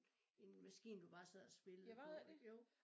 En maskine du bare sad og spillede på ik jo